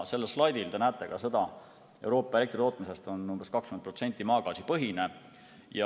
Sellel slaidil te näete ka seda, et Euroopa elektritootmisest on umbes 20% maagaasipõhine.